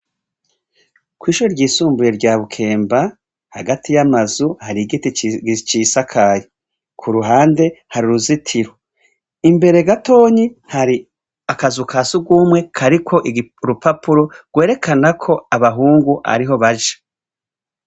Kw' ishure ryisumbuye rya Bukemba, hagati y' amazu hari igiti cisakaye. Ku ruhande, hari uruzitiro. Imbere gatonyi hari akazu ka surwumwe kariko urupapuro rwerekana ko abahungu ariho baja.